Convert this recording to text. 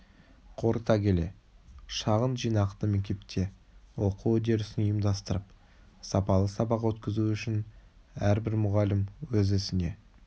қорыта келе шағын жинақты мектепте оқу үдерісін ұйымдастырып сапалы сабақ өткізу үшін әрбір мұғалім өз ісіне